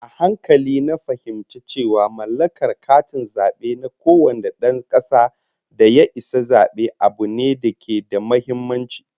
A hankali na fahimci cewa mallakar katin zabe na kowane dan kasa da ya isa zabe, abu ne da ke da muhimmanci